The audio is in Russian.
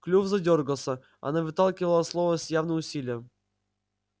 клюв задёргался она выталкивала слова с явным усилием